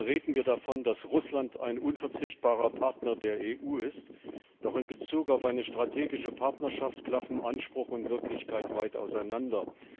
Seit Jahren reden wir davon, dass Russland ein unverzichtbarer Partner der EU ist, doch in Bezug auf eine strategische Partnerschaft klaffen Anspruch und Wirklichkeit weit auseinander.